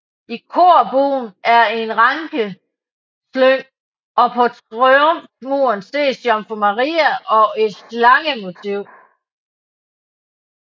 I korbuen er et rankeslyng og på triumfmuren ses Jomfru Maria og et slangemotiv